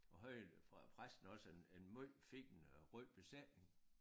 Og havde fra præsten også en en måj fin øh rød presenning